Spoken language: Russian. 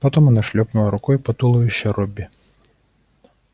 потом она шлёпнула рукой по туловищу робби